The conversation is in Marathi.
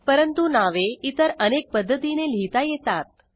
परंतु नावे इतर अनेक पध्दतीने लिहीता येतात